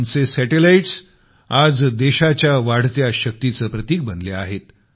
आमचे सॅटेलाईट्स आज देशाच्या वाढत्या शक्तीचं प्रतिक बनले आहेत